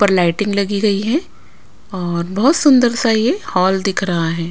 पर लाइटिंग लगी गई है और बहुत सुंदर सा ये हॉल दिख रहा है।